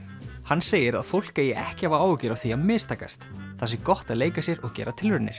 hann segir að fólk eigi ekki að hafa áhyggjur af því að mistakast það sé gott að leika sér og gera tilraunir